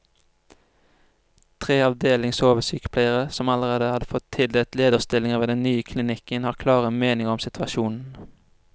Tre avdelingsoversykepleiere, som allerede har fått tildelt lederstillinger ved den nye klinikken, har klare meninger om situasjonen.